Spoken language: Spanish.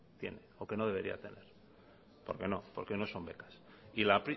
tiene o que no debería tener porque no porque no son becas y la